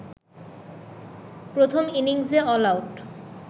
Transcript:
প্রথম ইনিংসে অলআউট